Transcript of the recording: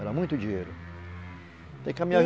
Era muito dinheiro.